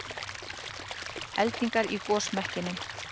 Eldingar í gosmekkinum